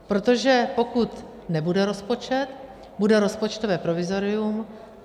Protože pokud nebude rozpočet, bude rozpočtové provizorium.